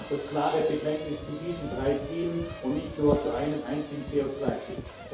Darum auch das klare Bekenntnis zu diesen drei Zielen und nicht nur zu einem einzigen CO 2 Ziel.